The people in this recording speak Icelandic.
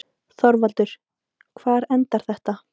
ÞORVALDUR: Hvar endar þetta?